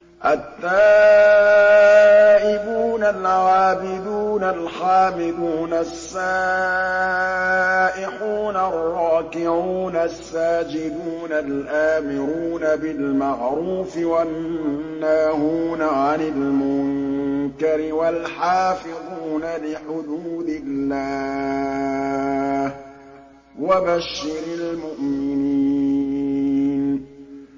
التَّائِبُونَ الْعَابِدُونَ الْحَامِدُونَ السَّائِحُونَ الرَّاكِعُونَ السَّاجِدُونَ الْآمِرُونَ بِالْمَعْرُوفِ وَالنَّاهُونَ عَنِ الْمُنكَرِ وَالْحَافِظُونَ لِحُدُودِ اللَّهِ ۗ وَبَشِّرِ الْمُؤْمِنِينَ